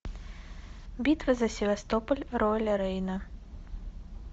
битва за севастополь роли рейна